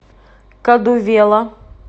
кадувела